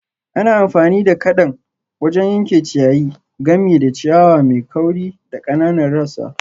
Ana amfani da kadan wajen yanke ciyayi, gami da ciyawa mai kauri da ƙananan rassa.